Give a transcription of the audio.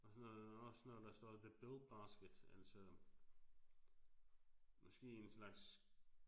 Og så noget også noget der står the bill basket altså måske en slags